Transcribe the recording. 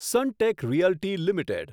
Sunteck Realty limited